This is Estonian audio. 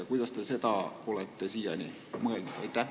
Kuidas te seda olete mõelnud?